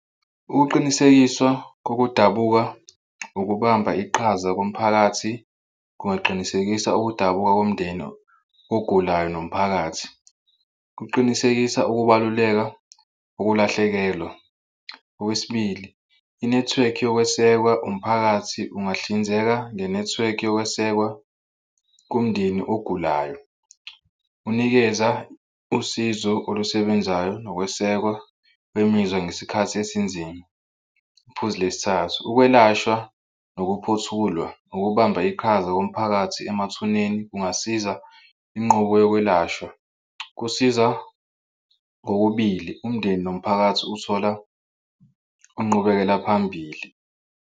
Ukuqinisekisa kokudabuka ukubamba iqhaza komphakathi kungaqinisekisa ukudabuka komndeni ogulayo nomphakathi. Kuqinisekisa ukubaluleka ukulahlekelwa. Okwesibili, inethiwekhi nokwesekwa umphakathi ungahlinzeka ngenethiwekhi yokwesekwa komndeni ogulayo unikeza usizo olusebenzayo nokwesekwa wemizwa ngesikhathi esinzima. Iphuzi lesithathu, ukwelashwa ukuphothulwa ukubamba iqhaza komphakathi emathuneni kungasiza inqubo yokwelashwa kusiza kokubili umndeni nomphakathi uthola inqubekela phambili.